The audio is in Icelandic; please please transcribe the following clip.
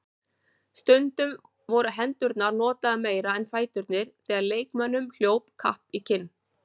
Stundum voru hendurnar notaðar meira en fæturnir þegar leikmönnum hljóp kapp í kinn.